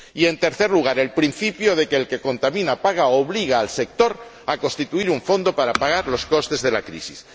Y en tercer lugar, el principio de quien contamina paga obliga al sector a constituir un fondo para pagar los costes de la crisis.